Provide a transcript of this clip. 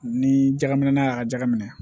Ni jɛgɛ ŋinɛ na y'a ka jaka minɛ